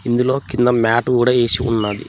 ఇందులో కింద మ్యాట్ కూడా ఏసి ఉన్నది.